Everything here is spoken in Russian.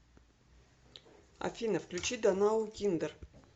афина включи донаукиндер